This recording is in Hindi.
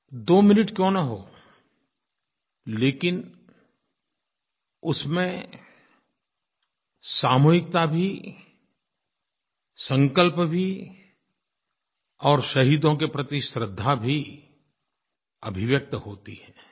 2 मिनट क्यों न हो लेकिन उसमें सामूहिकता भी संकल्प भी और शहीदों के प्रति श्रद्धा भी अभिव्यक्त होती है